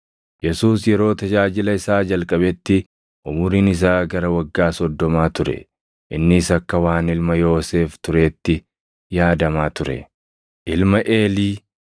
Yesuus yeroo tajaajila isaa jalqabetti umuriin isaa gara waggaa soddomaa ture. Innis akka waan ilma Yoosef tureetti yaadamaa ture: ilma Eelii,